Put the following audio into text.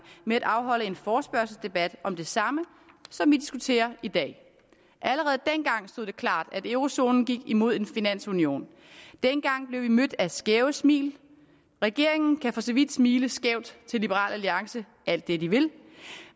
med at afholde en forespørgselsdebat om det samme som vi diskuterer i dag allerede dengang stod det klart at eurozonen gik imod en finansunion dengang blev vi mødt af skæve smil regeringen kan for så vidt smile skævt til liberal alliance alt det de vil